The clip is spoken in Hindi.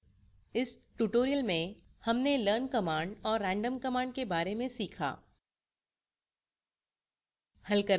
इस tutorial में हमने learn command और * random command के बारे में सीखा